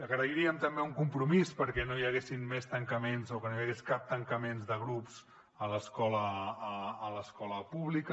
agrairíem també un compromís perquè no hi haguessin més tancaments o que no hi hagués cap tancament de grups a l’escola pública